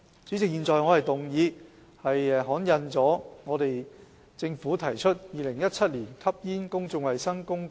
主席，我動議通過政府就《2017年吸煙令》提出的議案。